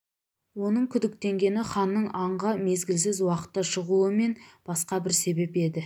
оның күдіктенгені ханның аңға мезгілсіз уақытта шығуы мен басқа бір себеп еді